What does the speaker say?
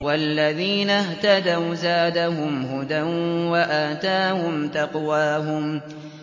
وَالَّذِينَ اهْتَدَوْا زَادَهُمْ هُدًى وَآتَاهُمْ تَقْوَاهُمْ